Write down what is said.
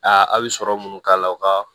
Aa a bɛ sɔrɔ munnu k'a la o ka